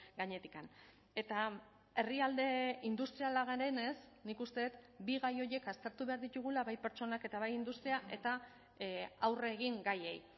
gainetik eta herrialde industriala garenez nik uste dut bi gai horiek aztertu behar ditugula bai pertsonak eta bai industria eta aurre egin gaiei